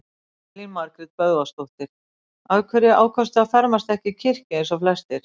Elín Margrét Böðvarsdóttir: Af hverju ákvaðstu á fermast ekki í kirkju eins og flestir?